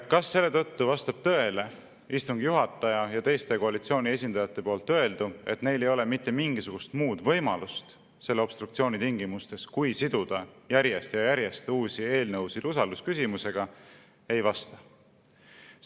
Kas selle tõttu vastab tõele istungi juhataja ja teiste koalitsiooni esindajate öeldu, et neil ei ole mitte mingisugust muud võimalust selle obstruktsiooni tingimustes, kui siduda järjest ja järjest uusi eelnõusid usaldusküsimusega?